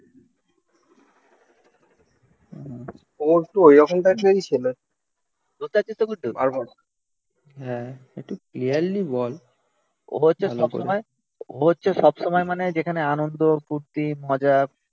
ও হচ্ছে সবসময় ও হচ্ছে সব সময় মানে যেখানে আনন্দ, ফুর্তি, মজা